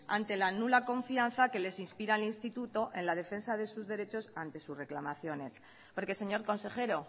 ante la nula confianza que les inspira el instituto en la defensa de sus derechos ante sus reclamaciones porque señor consejero